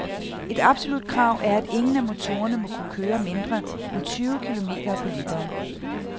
Et absolut krav er, at ingen af motorerne må kunne køre mindre end tyve km på literen.